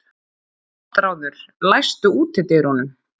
Ástráður, læstu útidyrunum.